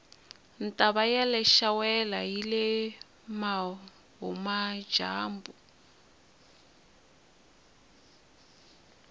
ntava yaleshawela yile vuhhumajambu